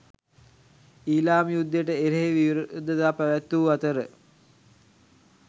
ඊලාම් යුද්ධයට එරෙහි විරෝධතා පැවැත්වූ අතර